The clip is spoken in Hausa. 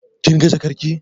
Kin ga jakar ki?